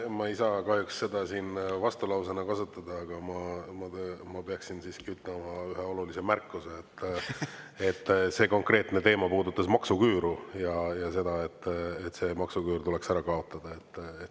Ma ei saa kahjuks seda siin vastulausena kasutada, aga ma peaksin siiski ütlema ühe olulise märkuse, et see konkreetne teema puudutas maksuküüru ja seda, et see maksuküür tuleks ära kaotada.